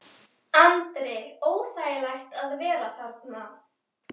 Andri: Óþægilegt að vera þarna?